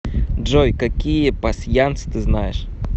джой какие пасьянс ты знаешь